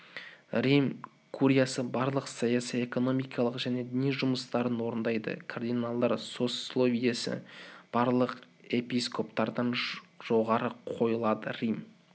рим куриясы барлық саяси экономикалық және діни жүмыстарын орындайды кардиналдар сословиесі барлық эпископтардан жоғары қойылады рим